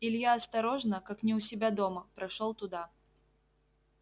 илья осторожно как не у себя дома прошёл туда